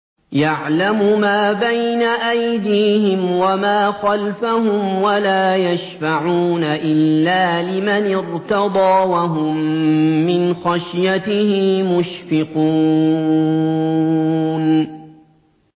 يَعْلَمُ مَا بَيْنَ أَيْدِيهِمْ وَمَا خَلْفَهُمْ وَلَا يَشْفَعُونَ إِلَّا لِمَنِ ارْتَضَىٰ وَهُم مِّنْ خَشْيَتِهِ مُشْفِقُونَ